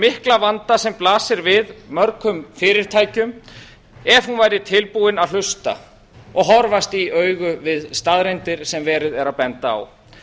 mikla vanda sem blasir við mörgum fyrirtækjum ef hún væri tilbúin að hlusta og horfast í augu við staðreyndir sem verið er að benda á